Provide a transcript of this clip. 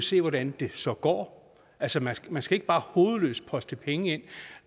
se hvordan det så går altså man man skal ikke bare hovedløst poste penge i det